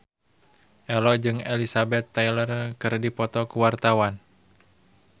Ello jeung Elizabeth Taylor keur dipoto ku wartawan